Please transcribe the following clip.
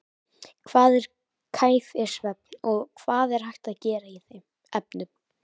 Hvað er kæfisvefn og hvað er hægt að gera í þeim efnum?